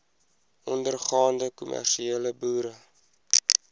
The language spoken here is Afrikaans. ondergaande kommersiële boere